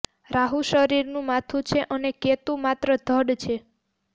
રાહુ શરીરનું માથું છે અને કેતુ માત્ર ધડ છે